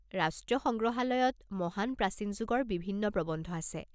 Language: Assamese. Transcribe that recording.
ৰাষ্ট্ৰীয় সংগ্ৰহালয়ত মহান প্ৰাচীন যুগৰ বিভিন্ন প্ৰবন্ধ আছে।